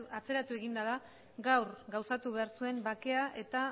atzeratu eginda da gaur gauzatu behar zuen bakea eta